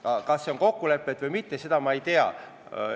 Kas see kandidaat on kokku lepitud või mitte, seda ma ei tea.